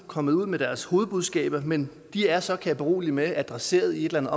kommet ud med deres hovedbudskaber men de er så kan jeg berolige med adresseret i et eller